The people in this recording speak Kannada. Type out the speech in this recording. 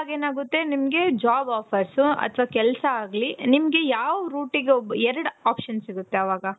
so ಅವಾಗ ನಿಮ್ಗೆನಾಗುತ್ತೆ job offers ಅತವ ಕೆಲ್ಸ ಆಗ್ಲಿ ನಿಮ್ಗೆ ಯಾವ್ route ಗೆ ಎರಡು option ಸಿಗುತ್ತೆ ಅವಾಗ.